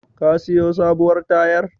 Ka siyo sabuwar tayar?